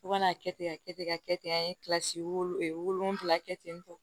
Fo ka n'a kɛ ten ka kɛ ten ka kɛ ten an ye kilasi wolonwula kɛ ten tɔ